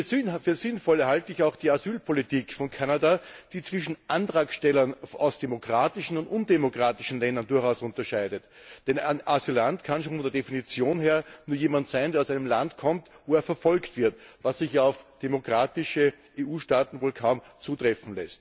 Für sinnvoll halte ich auch die Asylpolitik von Kanada, die zwischen Antragstellern aus demokratischen und undemokratischen Ländern durchaus unterscheidet. Denn Asylant kann schon von der Definition her nur jemand sein, der aus einem Land kommt, in dem er verfolgt wird, was auf demokratische EU Staaten wohl kaum zutrifft.